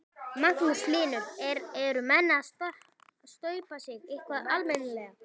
Magnús Hlynur: Eru menn að staupa sig eitthvað almennilega?